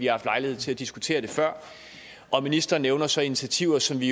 haft lejlighed til at diskutere før ministeren nævner så initiativer som vi